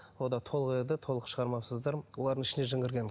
о да толық еді толық шығармапсыздар олардың ішіне жын кірген